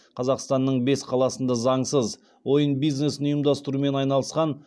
қазақстанның бес қаласында заңсыз ойын бизнесін ұйымдастырумен айналысқан